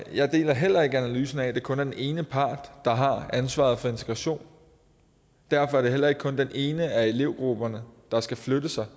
jeg deler heller ikke analysen af at det kun er den ene part der har ansvaret for integration derfor er det heller ikke kun den ene af elevgrupperne der skal flytte sig